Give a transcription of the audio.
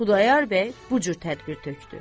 Xudayar bəy bu cür tədbir tökdü.